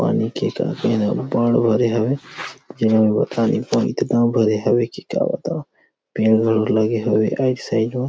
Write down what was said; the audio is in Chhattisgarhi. पानी के टंकी में पानीअबबड़ भरे हे जेम बाता नई पाव इतना भरे हे की का बताव पेड़ घलो लगे हवे आइट साइड मे।